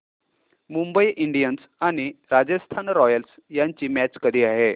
Mumbai Indians आणि Rajasthan Royals यांची match कधी आहे